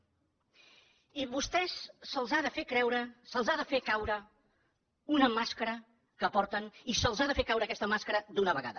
i a vostès se’ls ha de fer caure una màscara que porten i se’ls ha de fer caure aquesta màscara d’una vegada